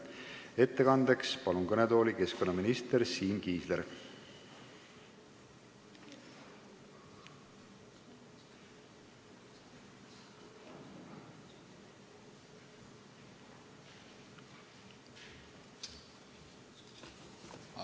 Ettekandeks palun kõnetooli keskkonnaminister Siim Kiisleri!